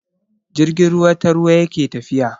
Jirgin ruwa ta ruwa yake tafiya.